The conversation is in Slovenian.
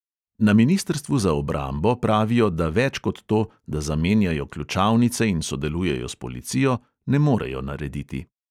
Na ministrstvu za obrambo pravijo, da več kot to, da zamenjajo ključavnice in sodelujejo s policijo, ne morejo narediti.